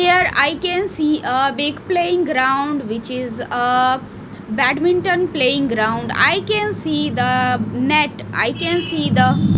here I can see ah big playing ground which is ah badminton playing ground I can see the net I can see the--